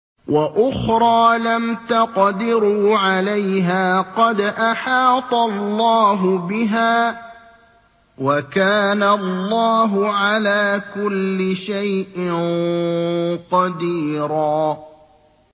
وَأُخْرَىٰ لَمْ تَقْدِرُوا عَلَيْهَا قَدْ أَحَاطَ اللَّهُ بِهَا ۚ وَكَانَ اللَّهُ عَلَىٰ كُلِّ شَيْءٍ قَدِيرًا